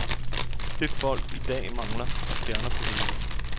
Det folk i dag mangler, er stjerner på himlen.